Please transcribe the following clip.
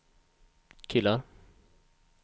killar